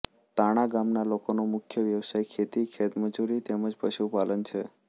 તાંણા ગામના લોકોનો મુખ્ય વ્યવસાય ખેતી ખેતમજૂરી તેમ જ પશુપાલન છે